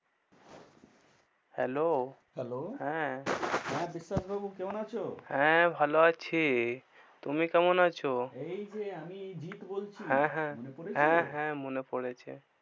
Hello হ্যাঁ হ্যাঁ, বিশ্বাস বাবু কেমন আছো? হ্যাঁ, ভালো আছি। তুমি কেমন আছো? এই যে আমি জিৎ বলছি। হ্যাঁ হ্যাঁ, মনে পরেছে? হ্যাঁ, হ্যাঁ মনে পরেছে।